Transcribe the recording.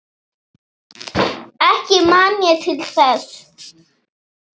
Ekki man ég til þess.